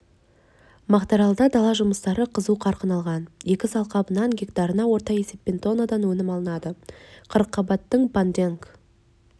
мақтааралда дала жұмыстары қызу қарқын алған егіс алқабынан гектарына орта есеппен тоннадан өнім алынады қырыққабаттың понденг